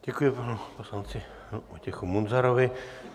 Děkuji panu poslanci Vojtěchu Munzarovi.